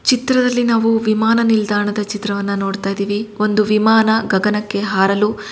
ಈ ಚಿತ್ರದಲ್ಲಿ ನಾವು ವಿಮಾನ ನಿಲ್ದಾಣ ದ ಚಿತ್ರ ವನ್ನು ನೋಡುತಿದೀವಿ ಒಂದು ವಿಮಾನ ಗಗನಕ್ಕೆ ಹಾರಲು ಸಿದ್ದವಾಗುತಿರುವುದು ಮುಂದೆ ಬರುತಿದೆ ಬಿಳಿ ಯ ಬಣ್ಣ ದ ವಿಮಾನ ಇದು.